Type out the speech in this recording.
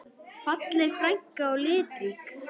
Falleg frænka og litrík.